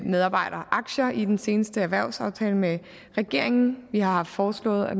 medarbejderaktier i den seneste erhvervsaftale med regeringen vi har foreslået at